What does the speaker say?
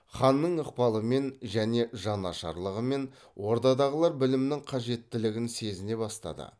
ханның ықпалымен және жанашырлығымен ордадағылар білімнің қажеттілігін сезіне бастады